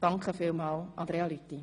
Vielen Dank, Andrea Lüthi!